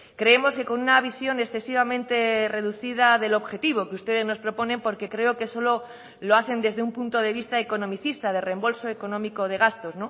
creemos que con una visión excesivamente reducida del objetivo que ustedes nos proponen porque creo que solo lo hacen desde un punto de vista economicista de reembolso económico de gastos